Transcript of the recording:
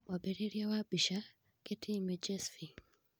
Mwambĩrĩrio wa mbica, Getty images Bi